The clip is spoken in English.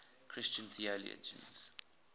christian theologians